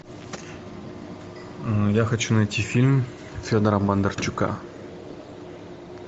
я хочу найти фильм федора бондарчука